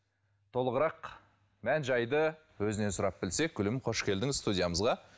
толығырақ мән жайды өзінен сұрап білсек гүлім қош келдіңіз студиямызға